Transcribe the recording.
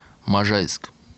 можайск